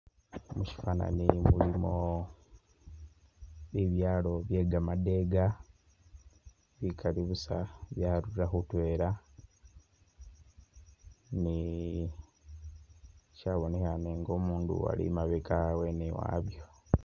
Mushifanani mulimo bibyalo bye gamadega bikali busa byarurira khutwela ni shabonekhane nga umundu ali imabega wene wabyo